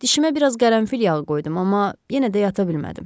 Dişimə biraz qərənfil yağı qoydum, amma yenə də yata bilmədim.